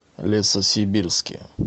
лесосибирске